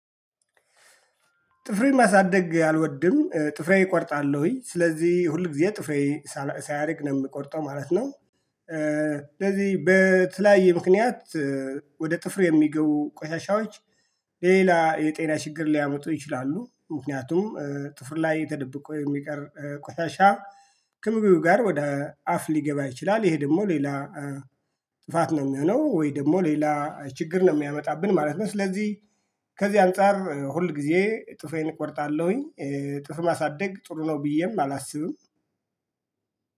ጥፍሬን ማሳደግ አልወድም ጥፍሬን እቆርጣለሁኝ ስለዚህ ሁል ጊዜ ጥፍሬ ሳያድግ ነው የምቆርጠው ማለት ነው። ስለዚህ በተለያየ ምክንያት ወደ ጥፍሩ የሚገቡ ቆሻሻዎች ሌላ የጤና ችግር ሊያመጡ ይችላሉ። ምክንያቱም ጥፍር ላይ የተደበቁ የሚቀር ቆሻሻ ከምግቡ ጋር ወደ አፍ ሊገባ ይችላል። ይሄ ደግሞ ሌላ ጥፋት ነው የሚሆነው ወይ ደግሞ ሌላ ችግር ነው የሚያመጣብን ማለት ነው። ስለዚህ ከዚህ አንፃር ሁል ጊዜ ጥፌን እቆርጣለሁኝ። ጥፍር ማሳደግ ጥሩ ነው ብዬም አላስብም።